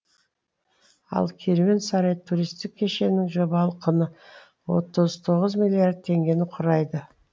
ал керуен сарай туристік кешеннің жобалық құны отыз тоғыз миллиард теңгені құрайды